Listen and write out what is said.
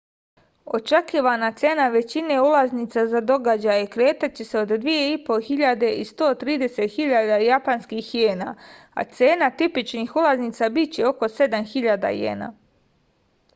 očekivana cena većine ulaznica za događaje kretaće se od 2500 i 130.000 japanskih jena a cena tipičnih ulazinca biće oko 7000 jena